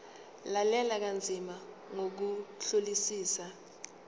lalela kanzima ngokuhlolisisa